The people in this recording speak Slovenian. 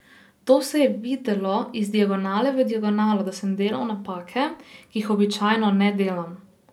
To se je videlo, iz diagonale v diagonalo sem delal napake, ki jih običajno ne delam.